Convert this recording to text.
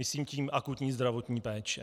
Myslím tím akutní zdravotní péče.